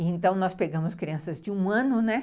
É. Então, nós pegamos crianças de um ano, né.